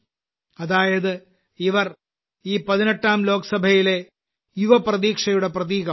അതായത് ഇവർ ഈ 18ാം ലോക്സഭയിലെ യുവ പ്രതീക്ഷയുടെ പ്രതീകമാകും